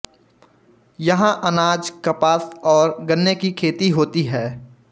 यहाँ अनाज कपास और गन्ने की खेती होती है